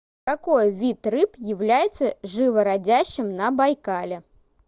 какой вид рыб является живородящим на байкале